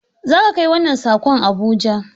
Za ka kai wannan sakon Abuja!